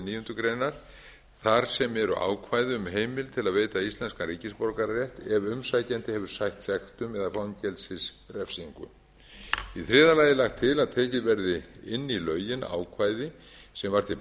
níundu grein þar sem eru ákvæði um heimild til að veita íslenskan ríkisborgararétt ef umsækjandi hefur sætt sektum eða fangelsisrefsingu í þriðja lagi er lagt til að tekið verði inn í lögin ákvæði sem var til